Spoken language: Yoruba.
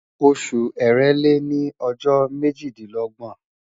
Oṣu Èrèlé ni ọjọ mejidinlọgbọn